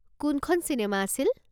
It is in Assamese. কোনখন চিনেমা আছিল?